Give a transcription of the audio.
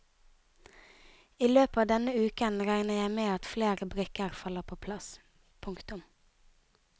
I løpet av denne uken regner jeg med at flere brikker faller på plass. punktum